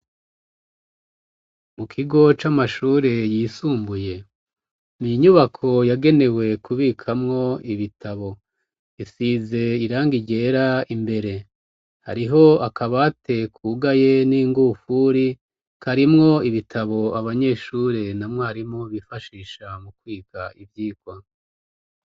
mu kigo c'amashuri yisumbuye, ninyubako yagenewe kubikwamwo ibitabo. isize irangi ryera imbere. hariho akabate kugaye n'ingufuri, karimwo ibitabo abanyeshuri na mwarimu bifashisha mu kwiga ivyirwa.